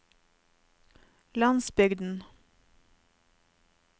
landsbygden